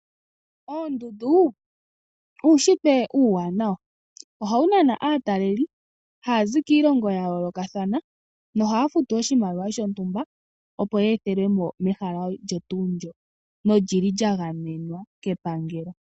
Oondundu uushitwe uuwanawa ohawu nana aataleli haya zi kiilongo ya yoolokathana nohaya futu oshimaliwa shontumba opo ye ethelwemo mehala olyo tuu ndyo nolili lya gamenwa kepangelo.